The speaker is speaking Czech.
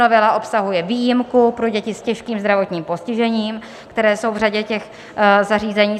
Novela obsahuje výjimku pro děti s těžkým zdravotním postižením, které jsou v řadě těch zařízení.